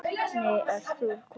Nei, ert þú kominn?